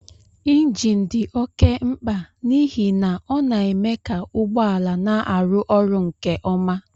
Injin dị oké mkpa n'ihi na ọ na-eme ka ụgbọ ala na-arụ ọrụ nke ọma